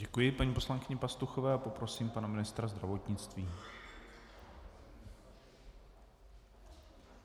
Děkuji paní poslankyni Pastuchové a poprosím pana ministra zdravotnictví.